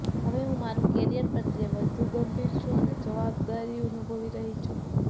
હવે હુ મારા કેરિયર પ્રત્યે વધુ ગંભીર થઈ છુ અને જવબદારી અનુભવી રહી છુ